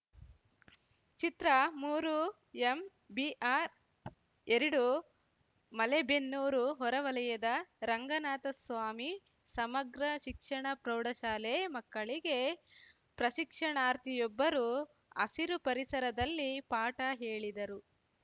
ಚಿತ್ರಮೂರುಎಂಬಿಆರ್‌ಎರಡು ಮಲೆಬೆನ್ನೂರು ಹೊರ ವಲಯದ ರಂಗನಾಥಸ್ವಾಮಿ ಸಮಗ್ರ ಶಿಕ್ಷಣ ಪ್ರೌಢಶಾಲೆ ಮಕ್ಕಳಿಗೆ ಪ್ರಶಿಕ್ಷಣಾರ್ಥಿಯೊಬ್ಬರು ಹಸಿರು ಪರಿಸರದಲ್ಲಿ ಪಾಠ ಹೇಳಿದರು